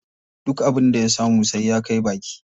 Duk abin da ya samu sai ya kai baki.